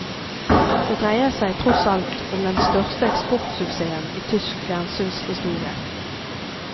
Det dreier seg tross alt om den største eksportsuksessen i tysk fjernsyns historie.